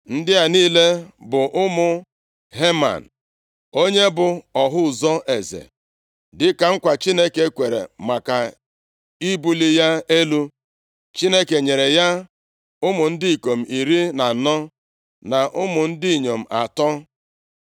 Ndị a niile bụ ụmụ Heman, onye bụ ọhụ ụzọ eze. Dịka nkwa Chineke kwere maka ibuli ya elu, Chineke nyere ya ụmụ ndị ikom iri na anọ, na ụmụ ndị inyom atọ.